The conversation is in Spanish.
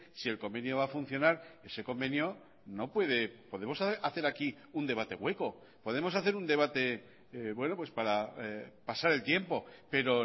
si el convenio va a funcionar ese convenio no puede podemos hacer aquí un debate hueco podemos hacer un debate para pasar el tiempo pero